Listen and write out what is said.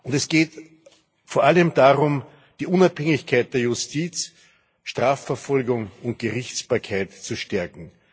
Es geht vor allem darum, die Unabhängigkeit der Justiz, der Strafverfolgung und der Gerichtsbarkeit zu stärken.